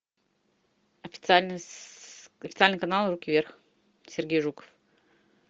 официальный канал руки вверх сергей жуков